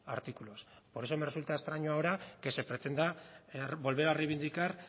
artículos por eso me resulta extraño ahora que se pretenda volver a reivindicar